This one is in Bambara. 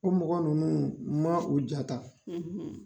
O mɔgɔ ninnu ma u ja ta,